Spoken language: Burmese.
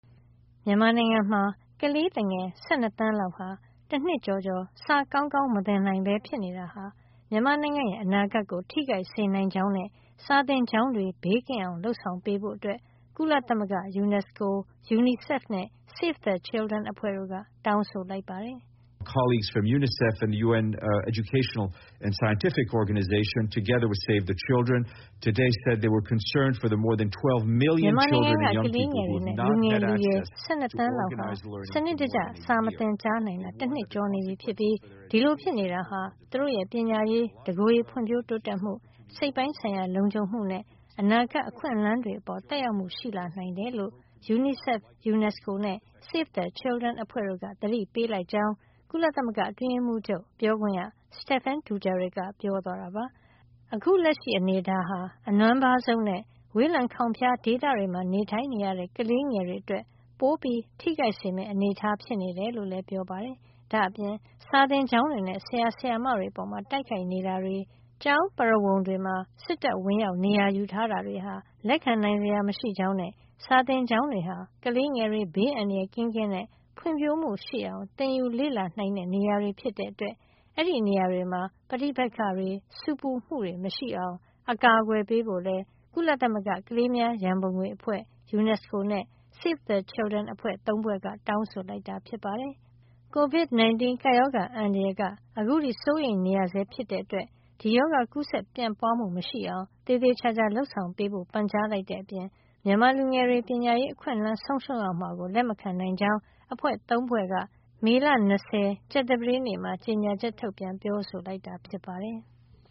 မြန်မာနိုင်ငံမှာ ကလေးသူငယ် ၁၂ သန်းလောက် တနှစ်ကျော်စာကောင်းကောင်း မသင်နိုင်ပဲ ဖြစ်နေတာဟာ မြန်မာနိုင်ငံရဲ့ အနာဂတ်ကို ထိခိုက်စေနိုင်ကြောင်းနဲ့ စာသင်ကျောင်းတွေ ဘေးကင်းအောင် လုပ်ဆောင်ပေးဖို့ ကုလသမဂ္ဂယူနက်စကို၊ UNICEF နဲ့ Save the Children အဖွဲ့တို့က တောင်းဆိုလိုက်ပါတယ်။ "မြန်မာနိုင်ငံက ကလေးငယ်တွေနဲ့ လူငယ်လူရွယ် ၁၂ သန်းလောက် ဟာ စနစ်တကျ စာမသင်ကြားနိုင်တာ တနှစ်ကျော်နေပြီဖြစ်ပြီး ဒီလို ဖြစ်နေတာဟာ သူတို့ရဲ့ ပညာရေး၊ တကိုယ်ရေဖွံ့ဖြိုးတိုးတက်မှု၊ စိတ်ပိုင်းဆိုင်ရာ လုံခြုံမှုနဲ့ အနာဂတ်အခွင့်လန်းတွေ အပေါ် သက်ရောက်မှုရှိလာ နိုင်တယ်" လို့ UNICEF ၊ UNESCO နဲ့ Save the Children အဖွဲ့တို့က သတိပေးလိုက် ကြောင်း ကုလသမဂ္ဂအတွင်းရေးမှုးချုပ်ရဲ့ ပြောခွင့်ရ Stephane Dujarric က ပြောသွားတာပါ။ အခု လက်ရှိအနေအထားဟာ အနွမ်းပါးဆုံးနဲ့ ဝေးလံခေါင်ဖျား ဒေသတွေမှာ နေထိုင်ရတဲ့ ကလေးငယ်တွေဟာ ပိုထိခိုက်မယ့် အနေထားး ဖြစ်နေတယ်လို့လည်း ပြောပါတယ်။ ဒါ့အပြင် စာသင်ကျောင်းတွေနဲ့ ဆရာ ဆရာမတွေ အပေါ် တိုက်ခိုက်နေတာတွေ၊ ကျောင်းပရဝုဏ်တွေထဲ စစ်တပ်ဝင်ရောက် နေရာယူတာတွေဟာ လက်ခံနိုင်စရာ မရှိကြောင်းနဲ့ စာသင်ကျောင်းတွေဟာ ကလေးငယ်တွေ ဘေးအန္တရာယ်ကင်းကင်းနဲ့ ဖွံ့ဖြိုးမှုရှိအောင် သငိယူလေ့လာ နိုင်တဲ့ နေရာတွေ ဖြစ်တဲ့ အတွက် အဲဒီနေရာတွေမှာ ပဋိပက္ခတွေ ဆူပူမှုတွေ မရှိအောင် အကာကွယ်ပေးဖို့လည်း ကုလသမဂ္ဂကလေးများရန်ပုံငွေအဖွဲ့၊ ယူနက်စကိုနဲ့ Save the Children အဖွဲ့ ၃ ဖွဲ့က တောင်းဆိုလိုက်ပါတယ်။ COVID- 19 ကပ်ရောဂါ အန္တရာယ်က အခုထိ စိုးရိမ်နေရဆဲ ဖြစ်တဲ့အတွက် ဒီရောဂါ ကူးစက်ပြန့်ပွါးမှု မရှိအောင် သေသေချာချာ လုပ်ဆောင်ပေးဖို့ ပန်ကြားလိုက်တဲ့အပြင် မြန်မာလူငယ်တွေ ပညာရေး အခွင့်အလန်းဆုံးရှုံးရမှာကို လက်မခံနိုင်ကြောင်း အဖွဲ့၃ ဖွဲ့က ကြာသပတေးနေ့မှာ ကြေညာချက် ထုတ်ပြန်ပြောဆိုလိုက်တာ ဖြစ်ပါတယ်။